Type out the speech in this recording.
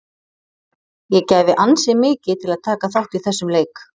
Ég gæfi ansi mikið til að taka þátt í þessum leik.